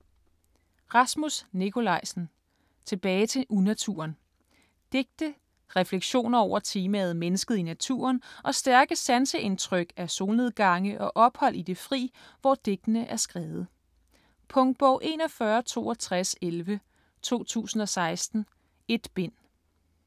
Nikolajsen, Rasmus: Tilbage til unaturen Digte. Refleksioner over temaet mennesket i naturen og stærke sanseindtryk af solnedgange og ophold i det fri, hvor digtene er skrevet. Punktbog 416211 2016. 1 bind.